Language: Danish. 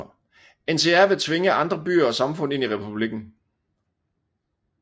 NCR vil tvinge andre byer og samfund ind i republikken